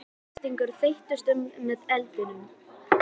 Svartar flygsur þeyttust upp með eldinum.